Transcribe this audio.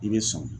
I bɛ sɔn